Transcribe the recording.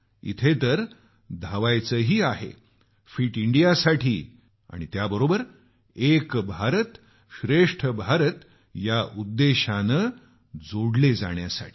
इथ तर धावायचंही आहे फिट इंडियासाठी आणि त्याबरोबर एक भारतश्रेष्ठ भारत या उद्देश्यानं आम्ही जोडले जात असतो